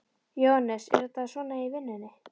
Jóhannes: Er þetta svona í vinnunni?